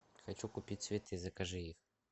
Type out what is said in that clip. хочу купить цветы закажи их